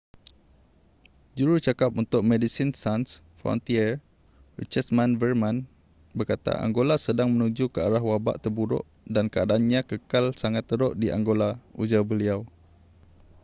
jurucakap untuk medecines sans frontiere richard veerman berkata angola sedang menuju ke arah wabak terburuk dan keadaannya kekal sangat teruk di angola ujar beliau